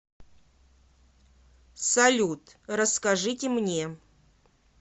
салют расскажите мне